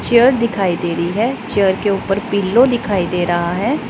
Chair दिखाई दे रही है चेयर के ऊपर पिलो दिखाई दे रहा है।